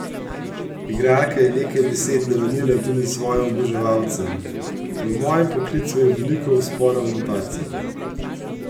Igralka je nekaj besed namenila tudi svojim oboževalcem: "V mojem poklicu je veliko vzponov in padcev.